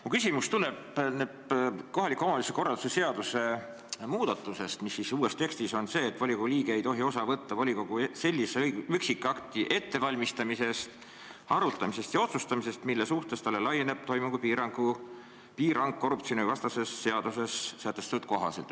Mu küsimus tuleb kohaliku omavalitsuse korralduse seaduse sellise muutmise kohta, et uues tekstis on kirjas: "Volikogu liige ei tohi osa võtta volikogu sellise üksikakti ettevalmistamisest, arutamisest ja otsustamisest, mille suhtes talle laieneb toimingupiirang korruptsioonivastases seaduses sätestatu kohaselt.